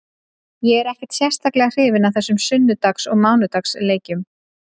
Ég er ekkert sérstaklega hrifinn af þessum sunnudags og mánudags leikjum.